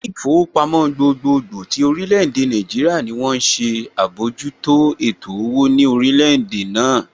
Ilé ìfowópamọ́ gbogbogbò tí orílè èdè Nàìjíríà ní wón ń ṣe àbójútó ètò owó ní orílẹ̀ èdè náà